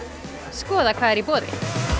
skoða hvað er í boði